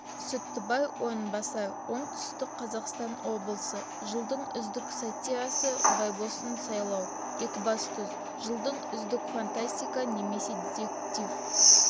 сүттібай орынбасар оңтүстік қазақстан облысы жылдың үздік сатирасы байбосын сайлау екібастұз жылдың үздік фантастика немесе детектив